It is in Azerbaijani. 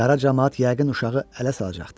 Qara camaat yəqin uşağı ələ salacaqdı.